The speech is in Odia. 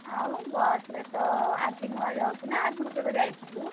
ଆଉ ବସ ରେ ତ ଆଜି ନୂଆ ଯାଉଚୁ ନା ଆଗରୁ କେବେ ଯାଇଥିଲୁ?